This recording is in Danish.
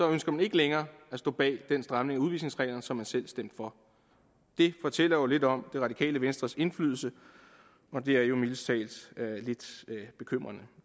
ønsker man ikke længere at stå bag den stramning af udvisningsreglerne som man selv stemte for det fortæller jo lidt om det radikale venstres indflydelse og det er mildest talt lidt bekymrende